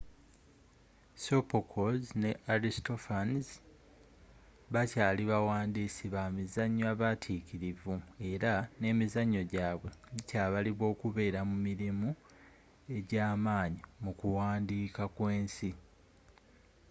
sophocles ne aristophanes bakyaali bawandiisi bamizanyo abatikirivu era nemizanyo gyaabwe gikyabalibwa okubeera mu mirimu egyamaanyi mu kuwandiika kw'ensi